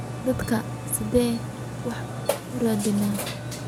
Dadkan sidhe wax uradhinayan.